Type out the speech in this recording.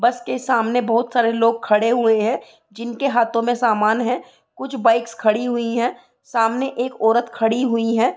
बस के सामने बहुत सारे लोग खड़े हुए हैं जिनके हाथों में सामान है कुछ बाइक्स खड़ी हुई है सामने एक औरत खड़ी हुई है।